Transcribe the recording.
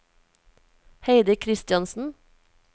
Heidi Christiansen